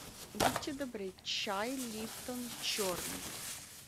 будьте добры чай липтон черный